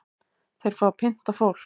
Þeir fá að pynta fólk